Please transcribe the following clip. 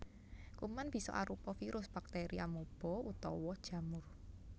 Kuman bisa arupa virus bakteri amuba utawa jamur